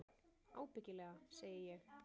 Ábyggilega, segi ég.